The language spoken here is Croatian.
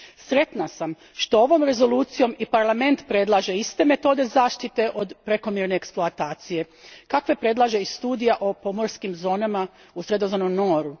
Sretna sam što ovom rezolucijom i Parlament predlaže iste metode zaštite od prekomjerne eksploatacije kakve predlaže i studija o pomorskim zonama u Sredozemnom moru.